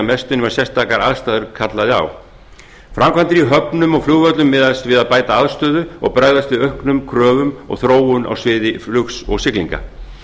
mestu nema sérstakar aðstæður kölluðu á framkvæmdir í höfnum og flugvöllum miðast við að bæta aðstöðu og bregaðst við auknum kröfum og þróun á sviði flugs og siglinga